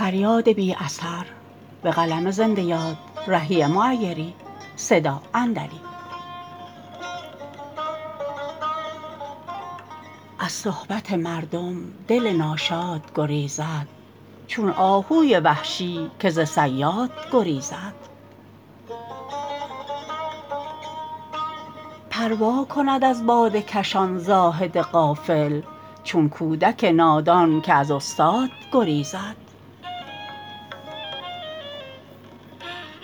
از صحبت مردم دل ناشاد گریزد چون آهوی وحشی که ز صیاد گریزد پروا کند از باده کشان زاهد غافل چون کودک نادان که از استاد گریزد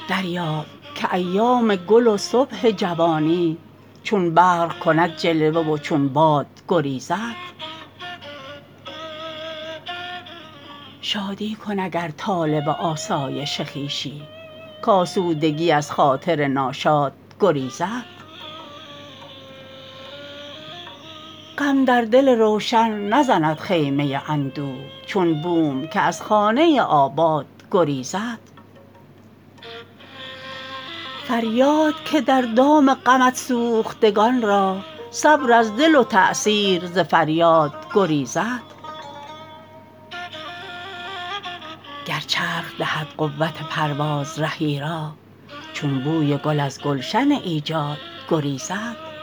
دریاب که ایام گل و صبح جوانی چون برق کند جلوه و چون باد گریزد شادی کن اگر طالب آسایش خویشی کآسودگی از خاطر ناشاد گریزد غم در دل روشن نزند خیمه اندوه چون بوم که از خانه آباد گریزد فریاد که در دام غمت سوختگان را صبر از دل و تاثیر ز فریاد گریزد گر چرخ دهد قوت پرواز رهی را چون بوی گل از گلشن ایجاد گریزد